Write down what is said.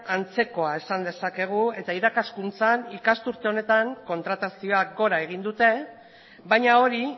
antzekoa esan dezakegu eta irakaskuntzan ikasturte honetan kontratazioak gora egin dute baina hori